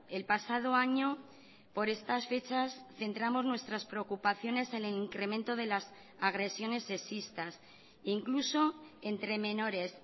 el pasado año por estas fechas centramos nuestras preocupaciones en el incremento de las agresiones sexistas incluso entre menores